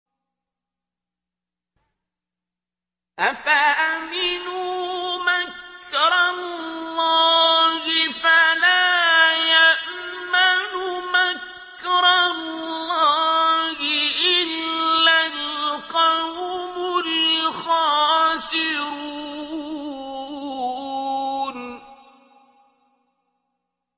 أَفَأَمِنُوا مَكْرَ اللَّهِ ۚ فَلَا يَأْمَنُ مَكْرَ اللَّهِ إِلَّا الْقَوْمُ الْخَاسِرُونَ